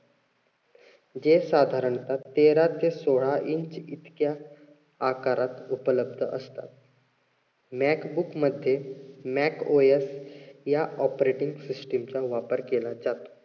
जे साधारणता तेरा ते सोळा इंच इतक्या आकारात उपलब्ध असतात. mac book मध्ये mac OS या operating system चा वापर केला जातो.